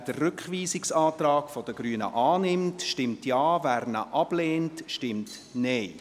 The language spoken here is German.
Wer den Rückweisungsantrag der Grünen annimmt, stimmt Ja, wer ihn ablehnt, stimmt Nein.